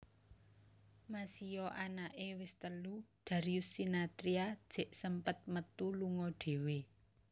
Masio anake wes telu Darius Sinathrya jek sempet metu lunga dhewe